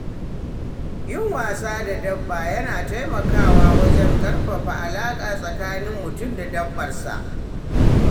Yin wasa da dabba yana taimakawa wajen ƙarfafa alaƙa tsakanin mutum da dabbar sa.